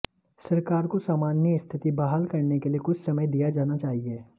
सरकार को सामान्य स्थिति बहाल करने के लिए कुछ समय दिया जाना चाहिए